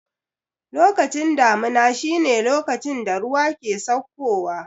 Lokacin damuna shi ne lokacin da ruwa ke sauko wa